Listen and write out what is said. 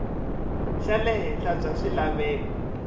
xa le henhla bya swilaveko